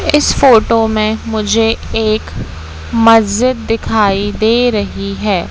इस फोटो में मुझे एक मस्जिद दिखाई दे रही है।